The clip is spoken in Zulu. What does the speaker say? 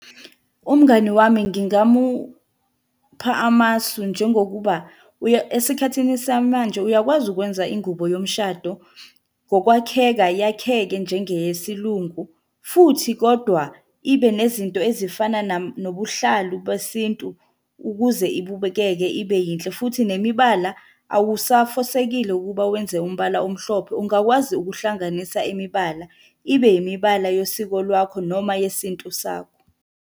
Umngani wami ngingamupha amasu njengokuba uya esikhathini samanje uyakwazi ukwenza ingubo yomshado, ngokwakheka yakheke njengeyesilungu, futhi kodwa, ibe nezinto ezifana nobuhlalu besintu ukuze ibukeke ibe yinhle, futhi nemibala awusafosekile ukuba wenze umbala omhlophe. Ungakwazi ukuhlanganisa imibala, ibe yimibala yesiko lwakho noma yesintu sakho.